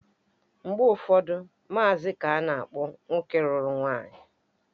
Mgbe ụfọdụ, maazi ka ana-akpọ nwoke lụrụ nwaanyị